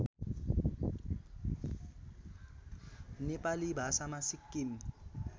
नेपाली भाषामा सिक्किम